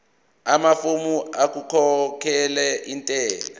amafomu okukhokhela intela